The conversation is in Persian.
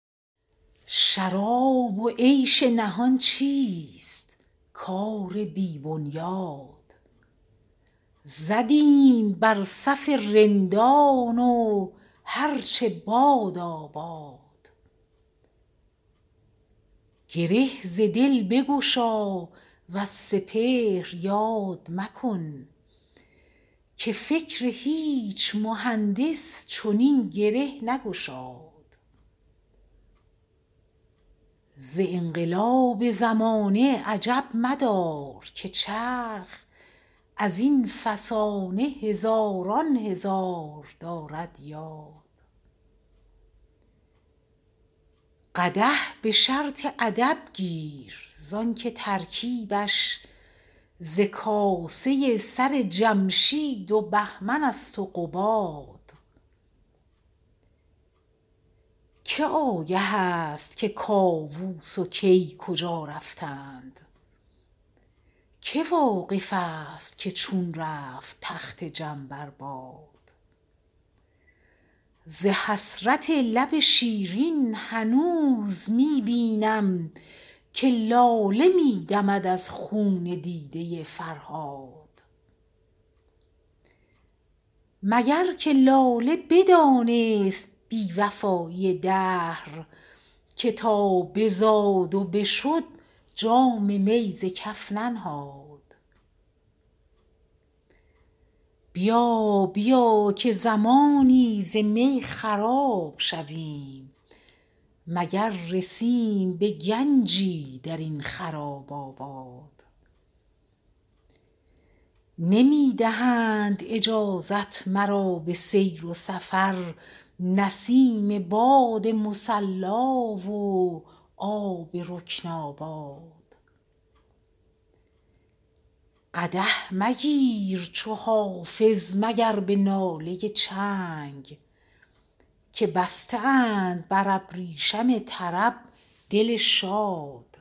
شراب و عیش نهان چیست کار بی بنیاد زدیم بر صف رندان و هر چه بادا باد گره ز دل بگشا وز سپهر یاد مکن که فکر هیچ مهندس چنین گره نگشاد ز انقلاب زمانه عجب مدار که چرخ از این فسانه هزاران هزار دارد یاد قدح به شرط ادب گیر زان که ترکیبش ز کاسه سر جمشید و بهمن است و قباد که آگه است که کاووس و کی کجا رفتند که واقف است که چون رفت تخت جم بر باد ز حسرت لب شیرین هنوز می بینم که لاله می دمد از خون دیده فرهاد مگر که لاله بدانست بی وفایی دهر که تا بزاد و بشد جام می ز کف ننهاد بیا بیا که زمانی ز می خراب شویم مگر رسیم به گنجی در این خراب آباد نمی دهند اجازت مرا به سیر سفر نسیم باد مصلا و آب رکن آباد قدح مگیر چو حافظ مگر به ناله چنگ که بسته اند بر ابریشم طرب دل شاد